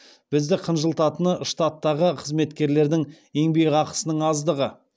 бізді қынжылтатыны штаттағы қызметкерлердің еңбекақысының аздығы